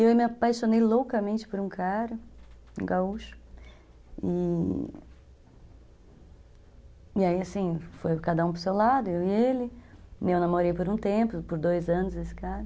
E eu me apaixonei loucamente por um cara, um gaúcho, e aí assim, foi cada um para seu lado, eu e ele, eu namorei por um tempo, por dois anos esse cara.